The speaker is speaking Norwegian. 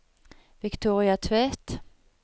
Victoria Tvedt